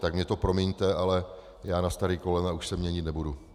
Tak mi to promiňte, ale já na stará kolena už se měnit nebudu.